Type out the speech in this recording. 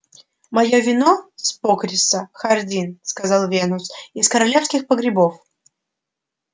моё вино с покриса хардин сказал венус из королевских погребов